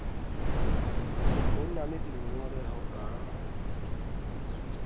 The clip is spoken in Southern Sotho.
ho na le dingongoreho ka